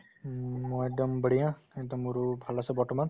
হুম, মই একদম বঢ়িয়া একদম মোৰো ভাল আছে বৰ্তমান